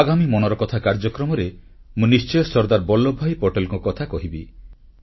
ଆଗାମୀ ମନ୍ କି ବାତ୍କାର୍ଯ୍ୟକ୍ରମରେ ମୁଁ ନିଶ୍ଚୟ ସର୍ଦ୍ଦାର ବଲ୍ଲଭ ଭାଇ ପଟେଲଙ୍କ କଥା କହିବି